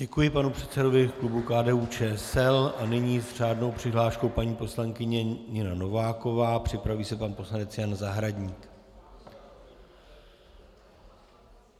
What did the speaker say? Děkuji panu předsedovi klubu KDU-ČSL a nyní s řádnou přihláškou paní poslankyně Nina Nováková, připraví se pan poslanec Jan Zahradník.